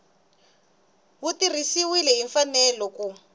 wu tirhisiwile hi mfanelo ku